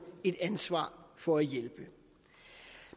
et ansvar for at hjælpe